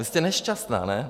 Vy jste nešťastná, ne?